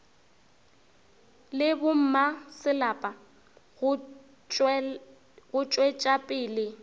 le bommasepala go tšwetša pele